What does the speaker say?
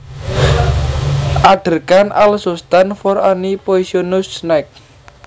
Adder can also stand for any poisonous snake